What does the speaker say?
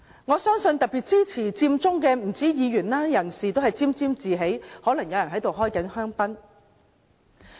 我相信不單是議員，支持佔中的人都沾沾自喜，可能有人正在開香檳。